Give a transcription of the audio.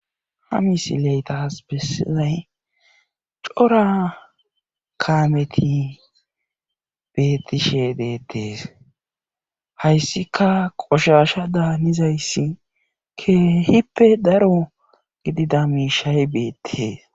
Ha misile tas bessizay cora kaameti beettishe deettes hayssika qoshasha daanizayssi keehippe daro gidida miishshay beettes.